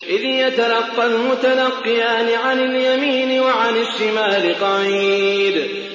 إِذْ يَتَلَقَّى الْمُتَلَقِّيَانِ عَنِ الْيَمِينِ وَعَنِ الشِّمَالِ قَعِيدٌ